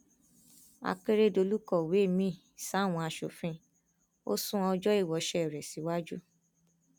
akérédọlù kọwé miín sáwọn asòfin ò sún ọjọ ìwoṣẹ rẹ síwájú